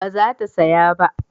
ba za ta saya ba